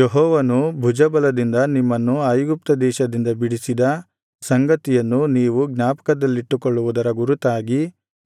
ಯೆಹೋವನು ಭುಜಬಲದಿಂದ ನಿಮ್ಮನ್ನು ಐಗುಪ್ತ ದೇಶದಿಂದ ಬಿಡಿಸಿದ ಸಂಗತಿಯನ್ನು ನೀವು ಜ್ಞಾಪಕದಲ್ಲಿಟ್ಟುಕೊಳ್ಳುವುದರ ಗುರುತಾಗಿ